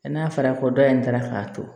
n'a fɔra ko dɔ in taara k'a to